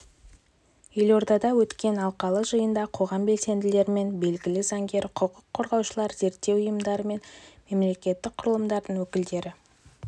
елордада өткен алқалы жиында қоғам белсенділері мен белгілі заңгер-құқық қорғаушылар зерттеу ұйымдары мен мемлекеттік құрылымдардың өкілдері